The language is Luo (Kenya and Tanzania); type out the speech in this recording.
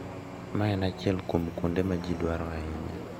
Mae en achiel kuom kuonde ma ji dwaro ahinya .